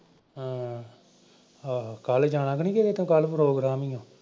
ਹਾਂ। ਆਹੋ ਕੱਲ ਜਾਣਾ ਤਾਂ ਨਈਂ ਕਿਤੇ ਤੂੰ ਕੱਲ ਪ੍ਰੋਗਰਾਮ ਈ ਆ।